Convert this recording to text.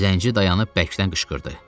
Zənci dayanıb bərkdən qışqırdı.